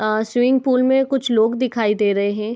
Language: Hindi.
अ स्विमिंग पूल में कुछ लोग दिखाई दे रहे हैं।